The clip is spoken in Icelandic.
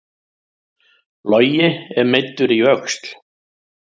Logi er meiddur í öxl